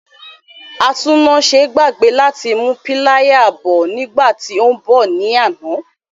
Atúnnáse gbàgbé láti mú píláyà bọ̀ nígbà tí ó ń bọ̀ ní àná.